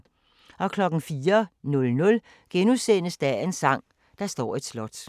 04:00: Dagens sang: Der står et slot *